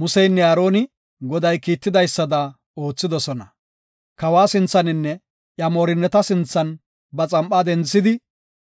Museynne Aaroni Goday kiitidaysada oothidosona. Kawa sinthaninne iya moorinnata sinthan ba xam7aa denthidi,